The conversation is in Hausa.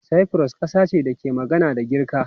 Cyprus kasa ce da ke magana da Girka.